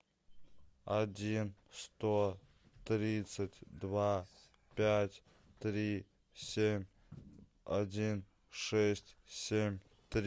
один сто тридцать два пять три семь один шесть семь три